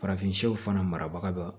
Farafinw fana marabaga dɔ